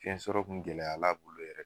Fiɲɛ sɔrɔ kun gɛlɛyara a bolo yɛrɛ